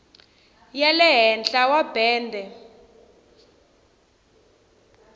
ya le henhla wa bende